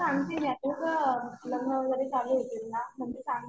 हा सांगते मी आता. पुढं लग्न वगैरे चालू होतील ना मग सांगते.